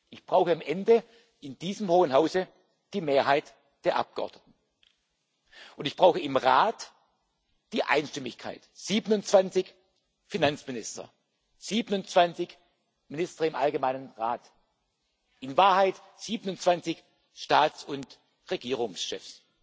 Ich brauche am Ende in diesem hohen Hause die Mehrheit der Abgeordneten, und ich brauche im Rat die Einstimmigkeit 27 Finanzminister, 27 Minister im Rat Allgemeine Angelegenheiten, in Wahrheit 27 Staats und Regierungschefs,